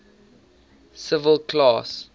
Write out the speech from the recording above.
civil class